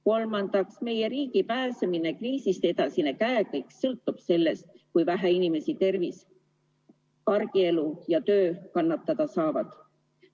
Kolmandaks, meie riigi pääsemine kriisist ja edasine käekäik sõltub sellest, kui vähe inimeste tervis, argielu ja töö kannatada saavad.